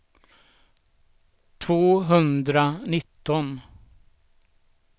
tvåhundranitton